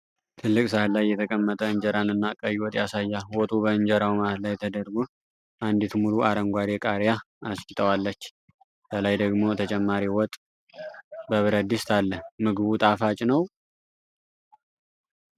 ትልቅ ሳህን ላይ የተቀመጠ እንጀራንና ቀይ ወጥ ያሳያል። ወጡ በእንጀራው መሃል ላይ ተደርጎ፣ አንዲት ሙሉ አረንጓዴ ቃሪያ አስጌጣዋለች። ከላይ ደግሞ ተጨማሪ ወጥ በብረት ድስት አለ። ምግቡ ጣፋጭ ነው?